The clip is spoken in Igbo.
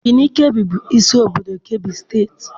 Birinịn Keebi bụ isi obodo Keebi steeti.